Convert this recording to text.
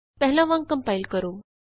ਪਹਿਲਾਂ ਵਾਂਗ ਕੰਪਾਇਲ ਕਰੋ